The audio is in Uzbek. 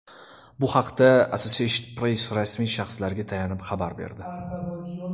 Bu haqda Associated Press rasmiy shaxslarga tayanib xabar berdi.